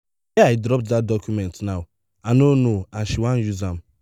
where i drop dat document now i no know and she wan use am